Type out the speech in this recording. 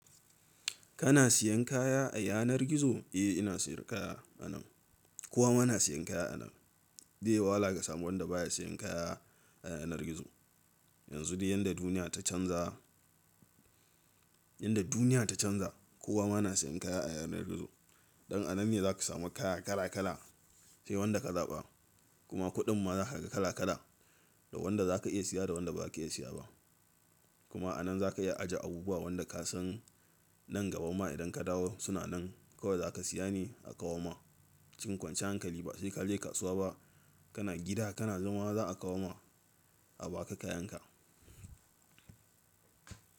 Kana siyan kaya a yanar gizo? Eh ina siyar kaya anan. Kowa ma na siyan kaya anan. Zai yi wahala ka samu wanda baya siyan kaya a yanar gizo. Yanzu dai yadda duniya ta canza, yadda duniya ta canza kowa ma na siyan kaya a yanar gizo. Dan anan ne zaka samu kaya kala kala sai wanda kazaɓa kuma kuɗin ma zaka ga kala kala da wanda zaka iya siya da wanda baza ka iya siya ba. Kuma anan zaka iya ajiye abubuwa wanda ka san nan gaba ma idan ka dawo suna nan kawai zaka siya ne a kawo ma. Cikin kwanciyar hankali ba sai kaje kasuwa ba kana gida kana zama za a kawo ma a baka kayan ka.